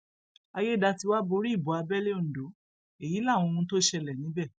àyédètiwa borí ìbò abẹlé ondo èyí láwọn ohun tó ṣẹlẹ níbẹ